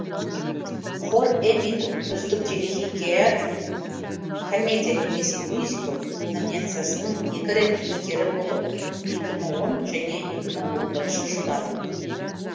хор эммидің үздік телехикая комедия немесе мюзикл номициясының екі рет иегері болды